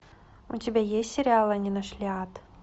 у тебя есть сериал они нашли ад